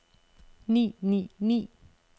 ni ni ni